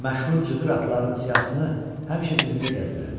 Məşhur cıdır atlarının siyahısını həmişə cibində gəzdirərdi.